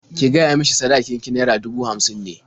Ki gaya mishi sadakin ki naira dubu hamsin ne.